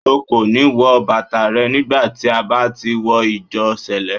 O kò ní wọ bàtà rẹ nígbà tí a bá ti wọ Ìjọ Sẹ̀lẹ́.